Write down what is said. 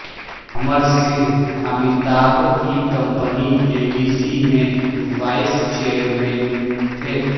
امر سنگھ امیتابھ کی company A B C میں vice chairman تھے